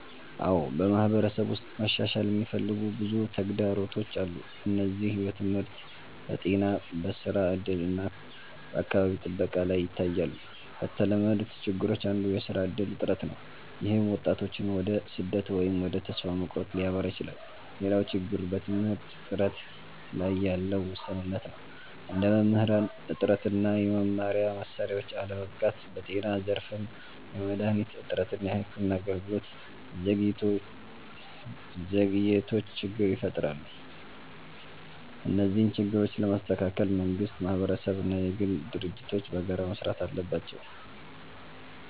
አዎ፣ በማህበረሰብ ውስጥ መሻሻል የሚፈልጉ ብዙ ተግዳሮቶች አሉ። እነዚህ በትምህርት፣ በጤና፣ በስራ እድል እና በአካባቢ ጥበቃ ላይ ይታያሉ። ከተለመዱት ችግሮች አንዱ የስራ እድል እጥረት ነው፣ ይህም ወጣቶችን ወደ ስደት ወይም ወደ ተስፋ መቁረጥ ሊያመራ ይችላል። ሌላው ችግር በትምህርት ጥራት ላይ ያለ ውስንነት ነው፣ እንደ መምህራን እጥረት እና የመማሪያ መሳሪያዎች አለመበቃት። በጤና ዘርፍም የመድሃኒት እጥረት እና የሕክምና አገልግሎት ዘግይቶች ችግር ይፈጥራሉ። እነዚህን ችግሮች ለመስተካከል መንግስት፣ ማህበረሰብ እና የግል ድርጅቶች በጋራ መስራት አለባቸው።